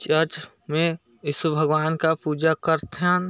Church में ईशु भगवान का पूजा करथन ।